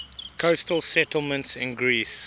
coastal settlements in greece